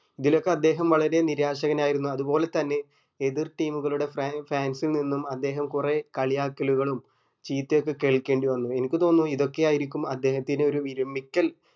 ഇതിലൊക്കെ അദ്ദേഹം വളരെ നിരാശൻ ആയിരുന്നു അതുപോലെ തന്നെ എതിർ team ഉകളുടെ fan fans ൽ നിന്നും അദ്ദേഹം കുരീ കളിയാക്കലുകളും ചീത്തയൊക്കെ കേൾക്കേണ്ടി വന്നു എനിക്ക് തോന്നുന്നു ഇതൊക്കെയായിരിക്കും അദ്ദേഹത്തിന് ഒരു വിരമിക്കൽ